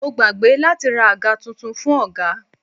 Mo gbàgbé láti ra àga tuntun fún ọ̀gá.